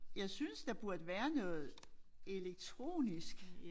Jeg synes der burde være noget elektronisk